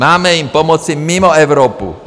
Máme jim pomoci mimo Evropu.